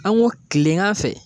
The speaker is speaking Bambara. An ko kilen kan fɛ